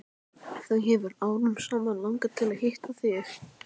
Þau hefur árum saman langað til að hitta þig.